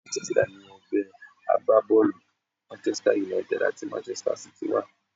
Manchester ni ẹgbẹ́ agbábọ́ọ̀lù Manchester United àti Manchester City wà.